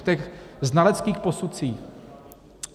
V těch znaleckých posudcích.